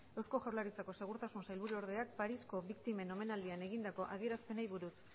eusko jaurlaritzako segurtasun sailburuordeak parisko biktimen omenaldian egindako adierazpenei buruz